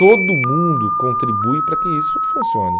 Todo mundo contribui para que isso funcione.